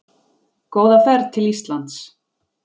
Góða ferð til Íslands!